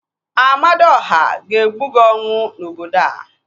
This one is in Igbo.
Amadiọha ga-egbu gị ọnwụ n'obodo a